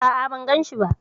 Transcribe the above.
A'a, ban ganshi ba.